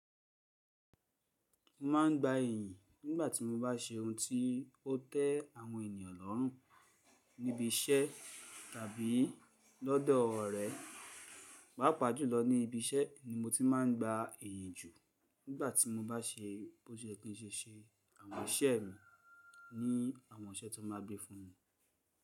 Mo ma ń gba ìyìn nígbàtí mo bá se oun tí ó tẹ àwọn ènìyàn lọ́rùn níbi iṣẹ́ tàbí lọ́dọ̀ ọ̀rẹ́. Pàpá jùlọ ní ibi iṣẹ́ ni mo ti má ń gba ìyìn jù nígbàtí mo bá se bó ṣe yẹ kí n ṣe se àwọn iṣẹ́ mi ní àwọn iṣẹ́ tí wọ́n bá gbé fún mi.